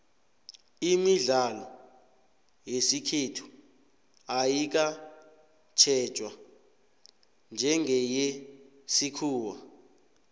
imidlalo yesikhethu ayikatjhejwa njengeyesikhuwa